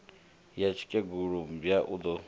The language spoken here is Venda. ya tsikegulu mmbwa u do